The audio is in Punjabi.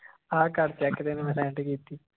ਆਹ ਕਰ check ਤੈਨੂੰ ਮੈਂ sent ਕੀਤੀ